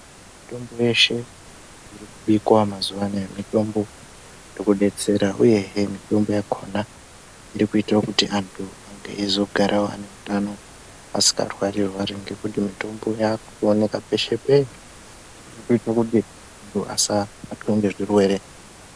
Mitombo yeshe irikubikwa mazuwa anaya mitombo irikudetsera uyehe mitombo yakona irikuita kuti antu azogara ane utano asikarwari rwari ngekuti mitombo yakuwanika peshe peshe zvirikuita kuti antu asabatwa ngezvirwere.